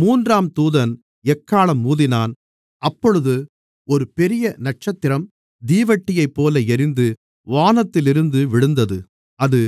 மூன்றாம் தூதன் எக்காளம் ஊதினான் அப்பொழுது ஒரு பெரிய நட்சத்திரம் தீவட்டியைப்போல எரிந்து வானத்திலிருந்து விழுந்தது அது